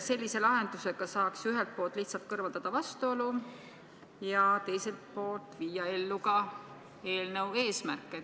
Sellise lahendusega saaks ühelt poolt lihtsalt kõrvaldada vastuolu ja teiselt poolt saavutada eelnõu eesmärke.